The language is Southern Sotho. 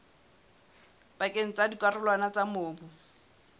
pakeng tsa dikarolwana tsa mobu